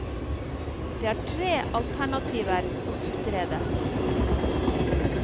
Det er tre alternativer som utredes.